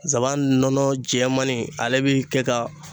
Nsaban nɔnɔ jɛɛmani, ale bɛ kɛ ka